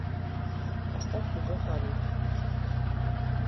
поставь любовь лолиты